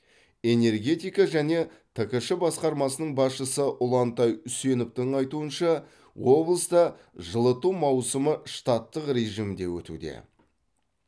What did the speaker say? энергетика және ткш басқармасының басшысы ұлантай үсеновтың айтуынша облыста жылыту маусымы штаттық режимде өтуде